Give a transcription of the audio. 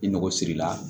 I ngo sirila